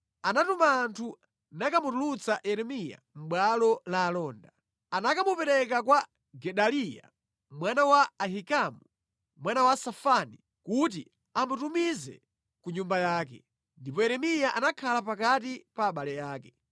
anatuma anthu nakamutulutsa Yeremiya mʼbwalo la alonda. Anakamupereka kwa Gedaliya mwana wa Ahikamu, mwana wa Safani, kuti amutumize ku nyumba yake. Ndipo Yeremiya anakhala pakati pa abale ake.